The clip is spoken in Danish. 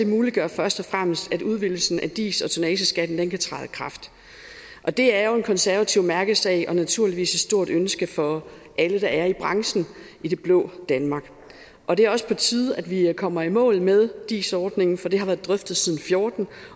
muliggør først og fremmest at udvidelsen af dis og tonnageskatten kan træde i kraft og det er jo en konservativ mærkesag og naturligvis et stort ønske for alle der er i branchen i det blå danmark og det er også på tide at vi kommer i mål med dis ordningen for det har været drøftet siden fjorten